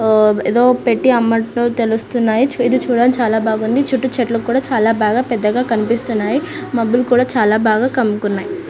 ఆహ్ ఏదో పెట్టి అమ్మట్లో తెలుస్తున్నాయి ఇది చూడడానికి చాల బాగున్నాయ్ చుట్టూ కూడా చాల బాగా పెద్దగా కనిపిస్తున్నాయ్ మొబ్బులు కూడా చాల బాగా కమ్ముకున్నాయి.